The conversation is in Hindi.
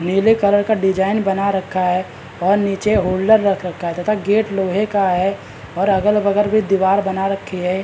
नीले कलर का डिज़ाइन बना रखा है और निचे होल्डर रख रखा है तथा गेट लोहे का है और अगल-बगल भी दिवार बना रखी है।